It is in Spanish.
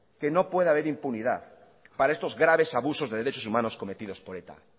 que no puede haber impunidad para estos graves abusos de derechos humanos cometido por eta